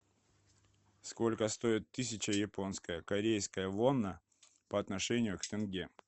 сколько стоит тысяча японская корейская вона по отношению к тенге